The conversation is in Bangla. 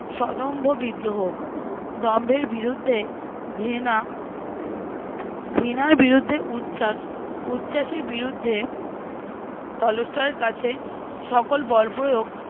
সদম্ভ বিদ্রোহ। দম্ভের বিরুদ্ধে ঘৃণা ঘৃণার বিরুদ্ধে উচ্ছাস, উচ্ছাসের বিরুদ্ধে টলস্টয়ের কাছে সকল বল প্রয়োগ